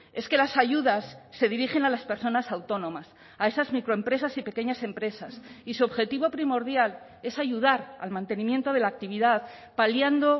es que las ayudas se dirigen a las personas autónomas a esas microempresas y pequeñas empresas y su objetivo primordial es ayudar al mantenimiento de la actividad paliando